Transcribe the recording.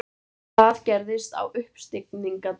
Hvað gerðist á uppstigningardaginn?